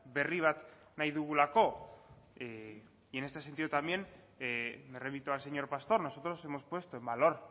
berri bat nahi dugulako y en este sentido también me remito al señor pastor nosotros hemos puesto en valor